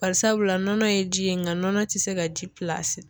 Barisabula nɔnɔ ye ji ye nka nɔnɔ tɛ se ka ji pilasi